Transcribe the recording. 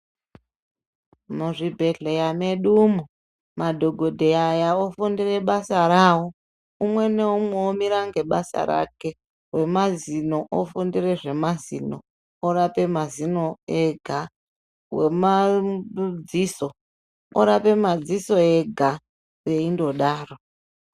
Muzvibhedhleya medumo madhokodheya aya ofundire basa rawo umwe neumwe omira ngebasa rake wemazino ofundire zvemazino orape mazino ega wemadziso orape madziso ega veindodaro.